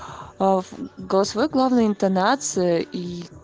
в голосовой главное интонация и